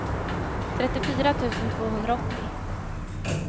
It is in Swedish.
trettiofyra tusen tvåhundraåttio